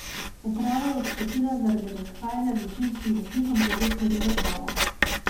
Uprava je odstopila zaradi razhajanja z večinskim lastnikom glede smeri razvoja.